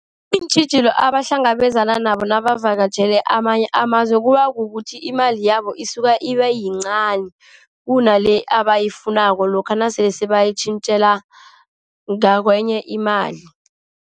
Iintjhijilo abahlangabezana nabo nabavakatjhele amanye amazwe kuba kukuthi imali yabo isuka iba yincani, kunale abayifunako lokha nasele bayitjintjela ngakwenye imali.